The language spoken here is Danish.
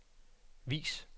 vis